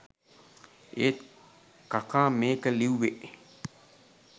ඒත් කකා මේක ලිව්වෙ